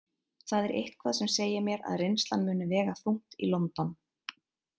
Það er eitthvað sem segir mér að reynslan muni vega þungt í London.